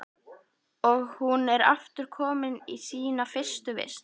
Og hún er aftur komin í sína fyrstu vist.